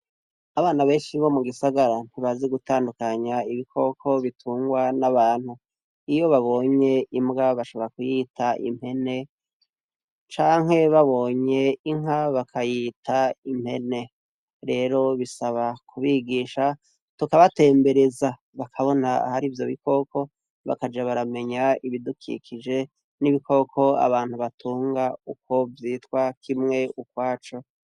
abana benshi bo mu gisagara ntibazi gutandukanya ibikoko bitungwa n'abantu iyo babonye imbwa bashobora kuyita impene canke babonye inka bakayita impene rero bisaba kubigisha tukabatembereza bakabona hari ivyo bikoko bakaja baramenya ibidukikije n'ibikoko abantu batunga uko vyitwa kimwe ukwaco